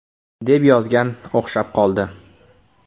deb yozgan, o‘xshab qoldi.